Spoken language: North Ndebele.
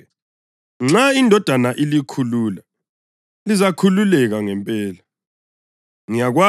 Ngakho-ke, nxa iNdodana ilikhulula, lizakhululeka ngempela.